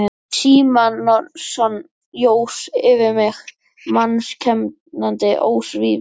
Símonarson jós yfir mig mannskemmandi ósvífni.